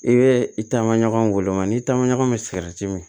I bɛ i taama ɲɔgɔn wele wa n'i taama ɲɔgɔn bɛ sigɛriti min